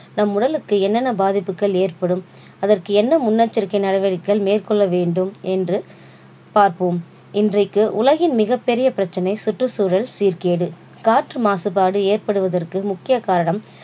நம் உடலுக்கு என்னென்ன பாதிப்புக்கள் ஏற்படும் அதற்கு என்ன முன்னெச்சரிக்கை நடவடிக்கைகள் மேற்கொள்ள வேண்டும் என்று பார்ப்போம். இன்றைக்கு உலகின் மிகப்பெரிய பிரச்சனை சுற்றுச்சூழல் சீர்கேடு காற்று மாசுபாடு ஏற்படுவதற்கு முக்கிய காரணம்